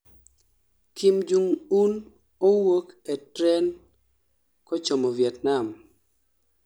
kim jong un owuok e tren kochomo vietnam